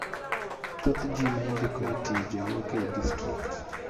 thothji maindiko ei tije wuok ei district.